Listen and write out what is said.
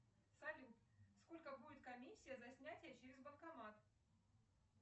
салют сколько будет комиссия за снятие через банкомат